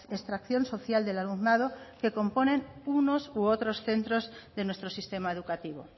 extracción social del alumnado que componen unos u otros centros de nuestro sistema educativo